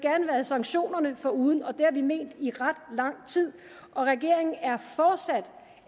sanktionerne foruden og det har vi ment i ret lang tid og regeringen er fortsat